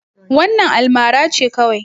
Wannan almara ce kawai.